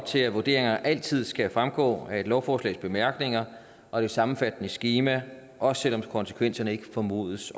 til at vurderinger altid skal fremgå af et lovforslags bemærkninger og et sammenfattende skema også selv om konsekvenserne ikke formodes